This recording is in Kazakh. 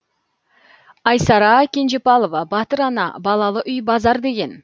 айсара кенжепалова батыр ана балалы үй базар деген